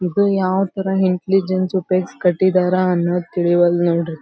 ಇದು ಯಾವ ತರ ಇಂಟೆಲಿಜೆನ್ಸ್ ಉಪಯೋಗಸಿ ಕಟ್ಟಿದರ ಅನ್ನುವುದು ತಿಳಿವಲ್ಲದುನೋಡ್ರಿ.